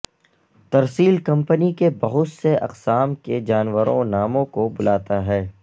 ترسیل کمپنی کے بہت سے اقسام کے جانوروں ناموں کو بلاتا ہے